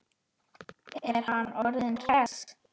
Er hann orðinn hress?